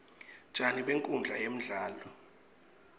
tjani benkhundla yemdlalo